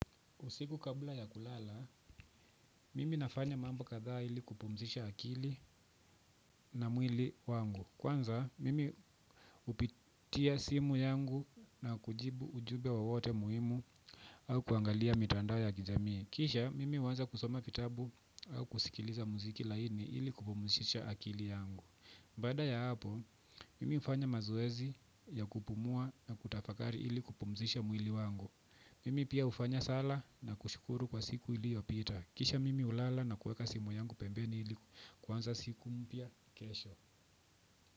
Usiku kabla ya kulala, mimi nafanya mambo kadhaa ili kupumzisha akili na mwili wangu. Kwanza, mimi hupitia simu yangu na kujibu ujube wowote muhimu au kuangalia mitandao ya kijamii. Kisha, mimi huanza kusoma fitabu au kusikiliza mziki laini ili kupumzisha akili yangu. Baada ya hapo, mimi hufanya mazoezi ya kupumua na kutafakari ili kupumzisha mwili wangu. Mimi pia hufanya sala na kushukuru kwa siku iliopita. Kisha mimi hulala na kueka simu yangu pembeni ili kuanza siku mpya kesho.